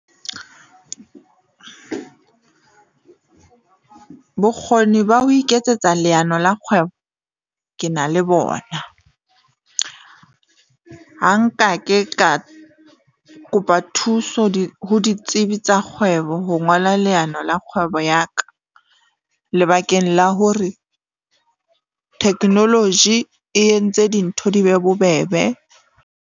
Bokgoni ba ho iketsetsa leano la kgwebo ke na le bona. Ha nka ke ka kopa thuso ho ditsebi tsa kgwebo. Ho ngola leano la kgwebo ya ka lebakeng la hore technology e entse dintho di be bobebe.